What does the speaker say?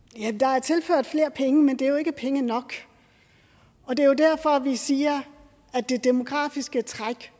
ja der er tilført flere penge men det er jo ikke penge nok og det er jo derfor vi siger at det demografiske træk